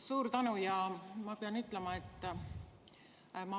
Suur tänu!